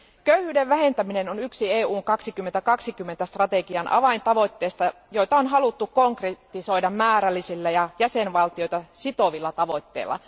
Köyhyyden vähentäminen on yksi Eurooppa 2020 strategian avaintavoitteista, joita on haluttu konkretisoida määrällisillä ja jäsenvaltioita sitovilla tavoitteilla.